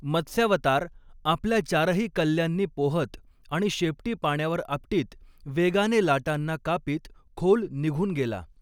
मत्स्यावतार आपल्या चारही कल्ल्यांनी पोहत आणि शेपटी पाण्यावर आपटीत वेगाने लाटांना कापीत खोल निघून गेला.